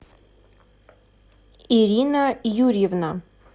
ирина юрьевна